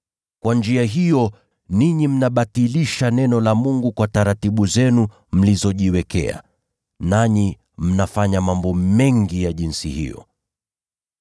Kwa njia hiyo ninyi mnabatilisha neno la Mungu kwa mapokeo yenu mliyojiwekea. Nanyi mnafanya mambo mengi ya aina hiyo.”